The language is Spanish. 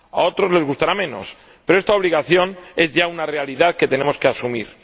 a otros les gustará menos, pero esta obligación es ya una realidad que tenemos que asumir.